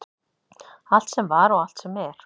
Allt sem var og allt sem er.